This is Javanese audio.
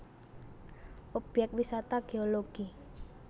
Obyek Wisata Geologi